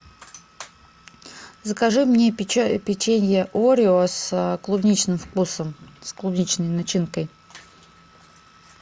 закажи мне печенье орео с клубничным вкусом с клубничной начинкой